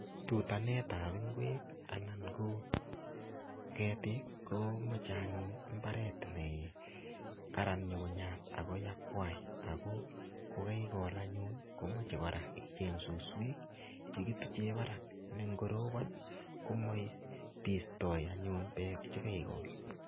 Tutanet ap ng'wek anan ko ketik ko mochei anyun mbaret ne Karan nyukunyat ako yakwai ako kokeikol anyun komochei kora icheny suswek chekituche barak nengorobon komoibistoi beek chekaikol.